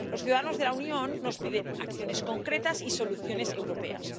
Los ciudadanos de la Unión nos piden acciones concretas y soluciones europeas.